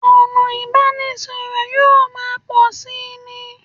Ọ̀nà ìbánisọ̀rọ̀ yóò máa pọ̀ síi ni